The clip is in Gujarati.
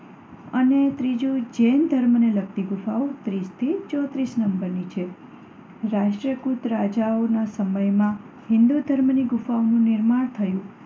અને ત્રીજુ જૈન ધર્મને લગતી ગુફાઓ ત્રીસ થી ચોત્રીસ નંબરની છે. રાષ્ટ્રકૂટ રાજાઓના સમયમાં હિન્દુ ધર્મની ગુફાઓનું નિર્માણ થયું.